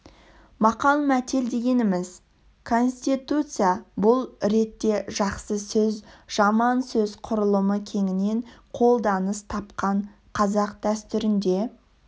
мақал-мәтел дегеніміз конституция бұл ретте жақсы сөз жаман сөз құрылымы кеңінен қолданыс тапқан қазақ дәстүрінде